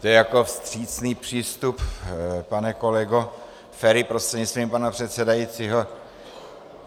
To je jako vstřícný přístup, pane kolego Feri, prostřednictvím pana předsedajícího?